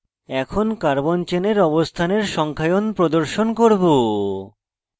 এখন carbon চেনের অবস্থানের সংখ্যায়ন প্রদর্শন করব